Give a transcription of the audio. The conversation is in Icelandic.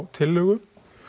tillögu